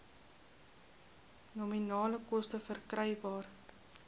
nominale koste verkrygbaar